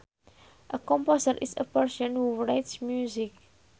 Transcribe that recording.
A composer is a person who writes music